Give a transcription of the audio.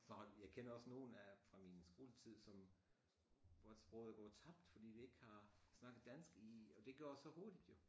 Så jeg kender også nogen af fra min skoletid som hvor at sproget går tabt fordi de ikke har snakket dansk i og det går så hurtigt jo